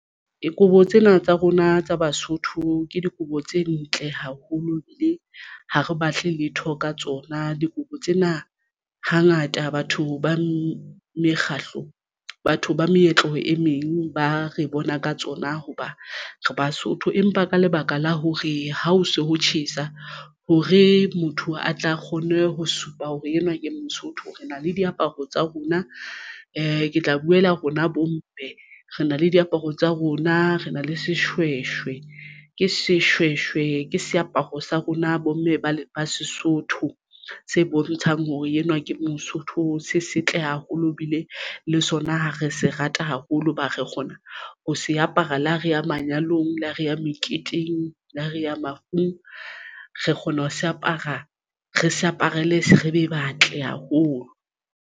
Dikobo tsena tsa rona tsa Basotho ke dikobo tse ntle haholo ebile ha re batle letho ka tsona dikobo tsena hangata batho ba mekgahlo batho ba meetlo e meng ba re bona ka tsona hoba re Basotho, empa ka lebaka la hore ha o so ho tjhesa hore motho a tla kgone ho supa hore enwa ke Mosotho re na le diaparo tsa rona ke tla boela rona bomme re na le diaparo tsa rona re na le seshweshwe ke seshweshwe ke seaparo sa rona bomme ba ile ba Sesotho se bontshang hore enwa ke Mosotho se setle haholo o lo bile le sona. Ha re se rata haholo hoba re gona ho se apara le ha re ya manyalong le ha re ya meketeng le ha reya mafung re kgona ho se apara re se aparele se re be batle haholo.